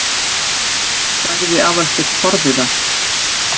sagði Aðalsteinn forviða.